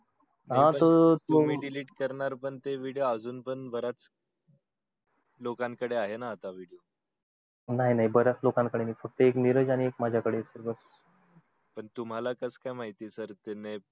तुम्ही delete करणार ते पण video अजून लोकं कडे पण आहेत ना तेनाही नाही बऱ्यच लोकांन कडे नई फक्त मिरज आणि एक माझ्या कडे आहे तुम्हला कसं काय माहित